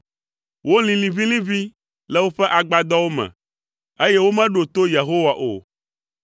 Wolĩ liʋĩliʋĩ le woƒe agbadɔwo me, eye womeɖo to Yehowa o.